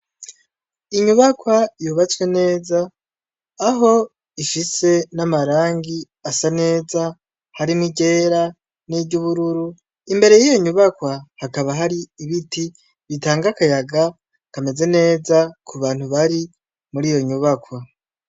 Inyubakwa yubatswe neza aho ifise n'amarangi asa neza harimo igera n'iryo ubururu imbere y'iyo nyubakwa hakaba hari ibiti bitanga akayaga kameze neza ku bantu bari muri iyo nyubakwa.